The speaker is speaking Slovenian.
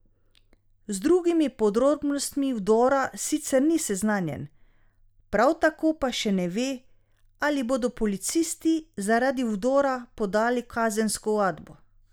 Z drugimi podrobnostmi vdora sicer ni seznanjen, prav tako pa še ne ve, ali bodo policisti zaradi vdora podali kazensko ovadbo.